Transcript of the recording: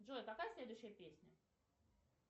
джой какая следующая песня